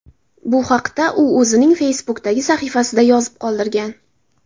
Bu haqda u o‘zining Facebook’dagi sahifasida yozib qoldirgan .